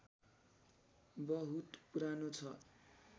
बहुत पुरानो छ